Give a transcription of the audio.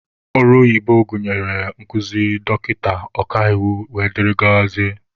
Ọrụ oyibo gụnyere ọrụ nkụzi, dọkịta, ọkaiwu wdg.